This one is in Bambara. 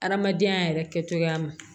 Adamadenya yɛrɛ kɛcogoya ma